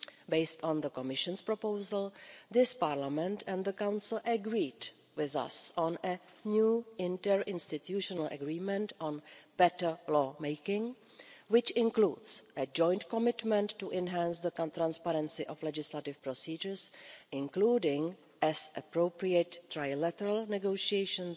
Based on the Commission's proposal, this Parliament and the Council agreed with us on new interinstitutional agreement on better law making which includes a joint commitment to enhance the transparency of legislative procedures, including as appropriate trilateral negotiations